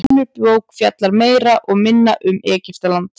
önnur bók fjallar meira og minna öll um egyptaland